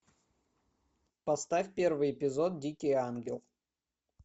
поставь первый эпизод дикий ангел